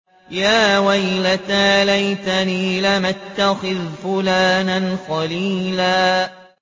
يَا وَيْلَتَىٰ لَيْتَنِي لَمْ أَتَّخِذْ فُلَانًا خَلِيلًا